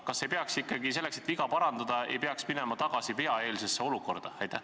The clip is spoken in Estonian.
Kas ei peaks ikkagi selleks, et viga parandada, minema tagasi veaeelsesse olukorda?